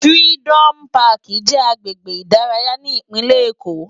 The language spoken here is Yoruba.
Firidòmú Pàkí jè àgbégbé idàráyá ni Ipinlé Ékó